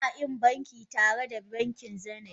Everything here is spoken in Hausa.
Ina ƙin banki tare da bankin Zenith